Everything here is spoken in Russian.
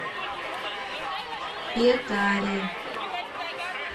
петаре